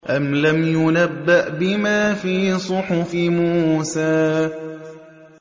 أَمْ لَمْ يُنَبَّأْ بِمَا فِي صُحُفِ مُوسَىٰ